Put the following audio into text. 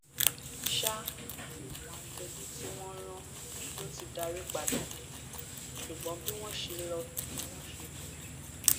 sáà àwọn aṣojú tí wọn rán ló ti darí padà dé ṣùgbọn bí wọn ṣe lọ ni wọn ṣe bọ